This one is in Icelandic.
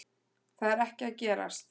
Það er ekki að gerast